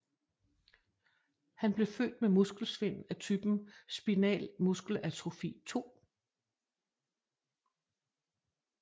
Han blev født med muskelsvind af typen Spinal MuskelAtrofi II